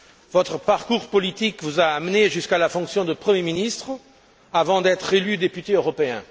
Votre parcours politique vous a amené jusqu'à la fonction de premier ministre avant d'être élu député européen.